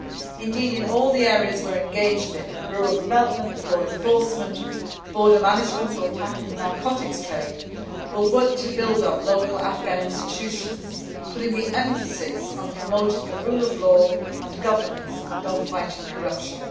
Indeed, in all the areas we are engaged in rural development, law enforcement, border management or tackling the narcotics trade we will work to build up local Afghan institutions, putting the emphasis on promoting the rule of law and governance and on fighting corruption.